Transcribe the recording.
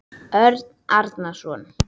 Örn Arason.